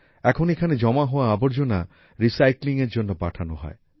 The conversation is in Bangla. এখন এখানে জমা হওয়া আবর্জনা recyclingএর জন্য পাঠানো হয়